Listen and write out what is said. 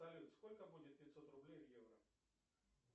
салют сколько будет пятьсот рублей в евро